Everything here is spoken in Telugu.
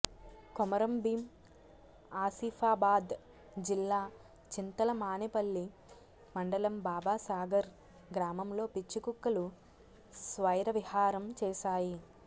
కొమురంభీం ఆసిఫాబాద్ జిల్లా చింతలమానేపల్లి మండలం బాబాసాగర్ గ్రామంలో పిచ్చికుక్కలు స్వైరవిహారం చేశాయి